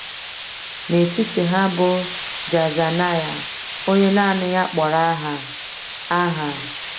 N’etiti ha bụ Jaazaniah, onye naanị ya kpọrọ aha. aha.